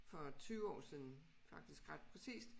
For 20 år siden faktisk ret præcist